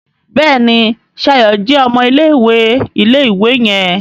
Béèni Shayo jé ọmọ ilé-ìwé ilé-ìwé yen.